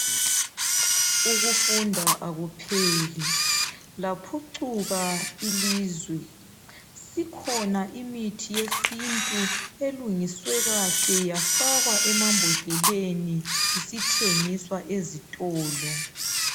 Ukufunda akupheli laphucuka ilizwe sikhona imithi yesintu elungiswe kahle yafakwa emabhodleleni isithengiswa ezitolo